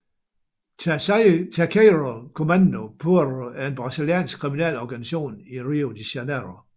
Terceiro Comando Puro er en brasiliansk kriminel organisation i Rio de Janiero